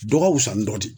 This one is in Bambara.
Dɔgɔ fuzani dɔ de